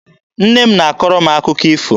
Nne m na-akọrọ anyị akụkọ ifo.